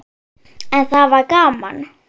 En það var gaman.